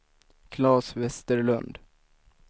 Klas Vesterlund